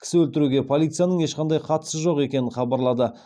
кісі өлтіруге полицияның ешқандай қатысы жоқ екенін хабарлады